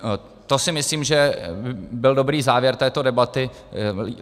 To si myslím, že byl dobrý závěr této debaty.